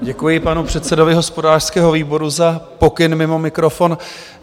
Děkuji panu předsedovi hospodářského výboru za pokyn mimo mikrofon.